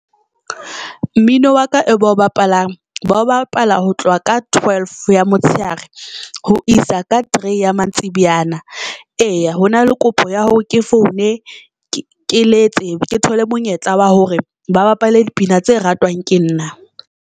Mmino wa ka e ba o bapalang ba o bapala ho tloha ka twelve ya motshehare ho isa ka three ya mantsibuyana eya hona le kopo ya hore ke foune ke letse ke thole monyetla wa hore ba bapale dipina tse ratwang ke nna.